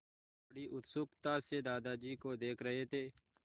वे बड़ी उत्सुकता से दादाजी को देख रहे थे